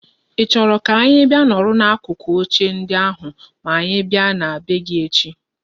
I choro ka anyi bia nọrọ n'akụkụ oche ndị ahụ ma anyi bia na be gi echi?